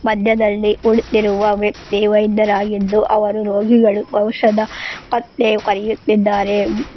ಮಧ್ಯದಲ್ಲಿ ಕುಳಿತಿರುವ ವ್ಯಕ್ತಿ ವೈದ್ಯರಾಗಿದ್ದು ಅವರು ರೋಗಿಗಳು ಔಷದ ಪತ್ತೆ ಬರೆಯುತ್ತಿದ್ದಾರೆ.